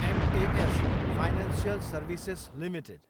mass financial services Ltd